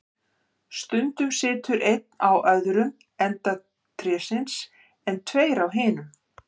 Stundum situr einn á öðrum enda trésins, en tveir á hinum.